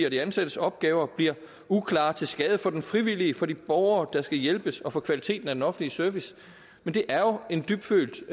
og de ansattes opgaver bliver uklare til skade for den frivillige og for de borgere der skal hjælpes og for kvaliteten af den offentlige service det er jo en dybtfølt